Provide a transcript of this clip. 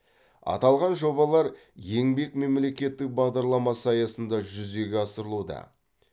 аталған жобалар еңбек мемлекеттік бағдарламасы аясында жүзеге асырылуда